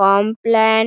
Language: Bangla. কমপ্লান